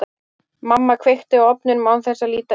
Mamma kveikti á ofninum án þess að líta inn í hann.